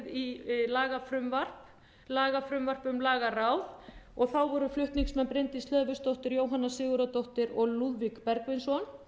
í lagafrumvarp lagafrumvarp um lagaráð voru flutningsmenn bryndís hlöðversdóttir jóhanna sigurðardóttir og lúðvík bergvinsson